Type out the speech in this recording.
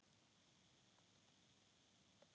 Þá er komin töf.